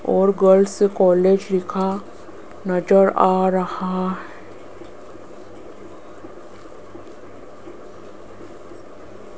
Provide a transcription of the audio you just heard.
और girls college लिखा नजर आ रहा--